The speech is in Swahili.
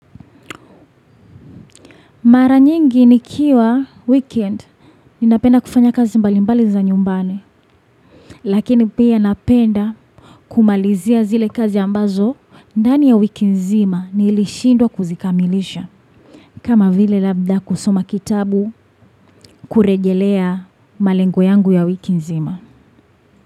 Mara nyingi nikiwa weekend, ninapenda kufanya kazi mbalimbali za nyumbani, lakini pia napenda kumalizia zile kazi ambazo, ndani ya wiki nzima nilishindwa kuzikamilisha. Kama vile labda kusoma kitabu kurejelea malengo yangu ya wiki nzima.